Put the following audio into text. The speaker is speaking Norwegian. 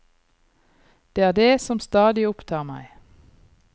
Det er det som stadig opptar meg.